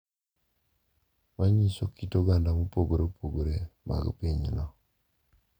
Manyiso kit oganda mopogore opogore mag pinyno